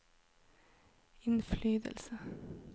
innflytelse